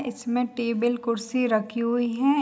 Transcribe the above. इसमें टेबिल कुर्सी रखी हुई हैं।